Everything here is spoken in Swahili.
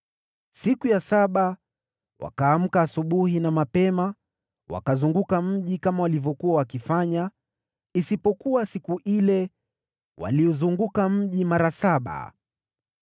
Siku ya saba, wakaamka asubuhi na mapema wakauzunguka mji kama walivyokuwa wakifanya, isipokuwa siku ile waliuzunguka mji mara saba.